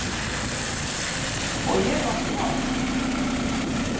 Og ég á mig sjálf!